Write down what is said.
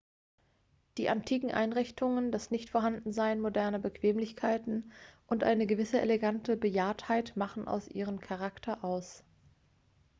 die antiken einrichtungen das nichtvorhandensein moderner bequemlichkeiten und eine gewisse elegante bejahrtheit machen auch ihren charakter aus